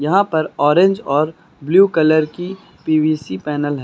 यहां पर ऑरेंज और ब्ल्यू कलर की पी_वी_सी पैनल है।